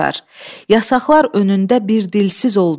Yasaqlar önündə bir dilsiz olduq.